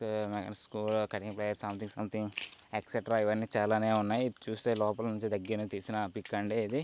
Something something extra ఇవన్నీ చాలానే ఉన్నాయి.లాస్ చూస్తుంటే లోపల నుండి తీసిన పిక్ అండి ఇది.